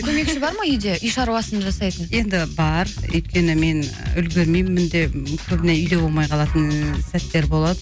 көмекші бар ма үйде үй шаруасын жасайтын енді бар өйткені мен үлгірмеймін де көбіне үйде болмай қалатын сәттер болады